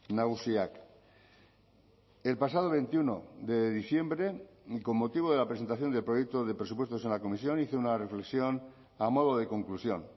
nagusiak el pasado veintiuno de diciembre y con motivo de la presentación del proyecto de presupuestos en la comisión hice una reflexión a modo de conclusión